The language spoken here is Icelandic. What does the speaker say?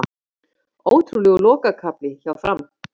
Ótrúlegur lokakafli hjá Fram